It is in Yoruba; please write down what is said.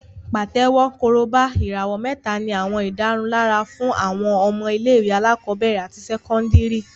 Pàtẹ́wọ́, Korobá, ìràwọ̀ mẹ́ta ní àwọn ìdárunlárà fún àwọn ọmọ ilé-ìwé alákọ̀ọ́bẹ̀rẹ̀ àti sẹ́kọ́ndìrì